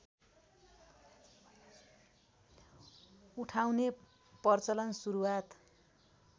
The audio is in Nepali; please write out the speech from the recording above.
उठाउने प्रचलन सुरुवात